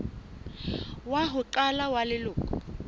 wa ho qala wa leloko